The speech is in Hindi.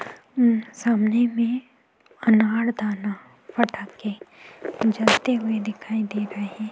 उम् सामने में अनारदाना फटाके जलते हुए दिखाई दे रहे हैं।